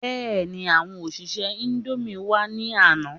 Bẹ́ẹ̀ni, àwọn òṣìṣẹ́ indomie wá ní àná